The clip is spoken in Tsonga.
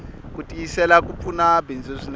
kutiyisela kupfuna bindzu swinene